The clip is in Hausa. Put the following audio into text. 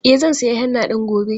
E, zan sayi henna ɗin gobe.